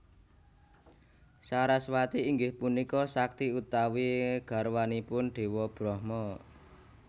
Saraswati inggih punika sakti utawi garwanipun Déwa Brahma